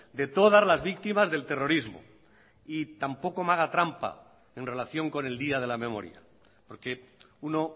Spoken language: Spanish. de todas las víctimas del terrorismo y tampoco me haga trampa en relación con el día de la memoria porque uno